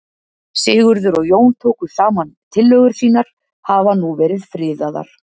Sigurður og Jón tóku saman tillögur sínar hafa nú verið friðaðar.